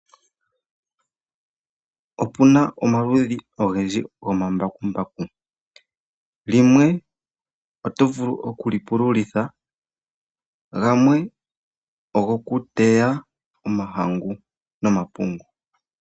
Opuna omaludhi ogendji gomambakumbaku. Limwe oto vulu okulipululitha, gamwe ogokuteya omahangu nomapungu.